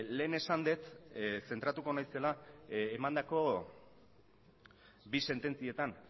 lehen esan dut zentratuko naizela emandako bi sententzietan